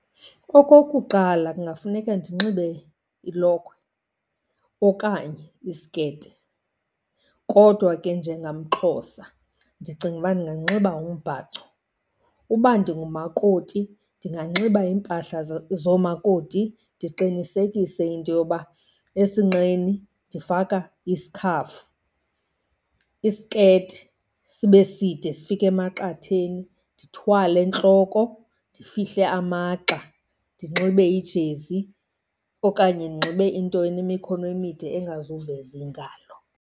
Okokuqala, kungafuneke ndinxibe ilokhwe okanye isiketi, kodwa ke njengamXhosa ndicinga uba ndinganxiba umbhaco. Uba ndingumakoti ndinganxiba iimpahla zoomakoti, ndiqinisekise into yoba esinqeni ndifaka isikhafu. Isiketi sibe side sifike emaqatheni, ndithwale entloko, ndifihle amagxa, ndinxibe ijezi okanye ndinxibe into enemikhono emide engazuveza iingalo.